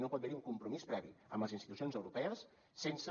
no pot haver un compromís previ amb les institucions europees sense